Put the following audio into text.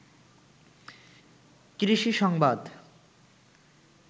কৃষি সংবাদ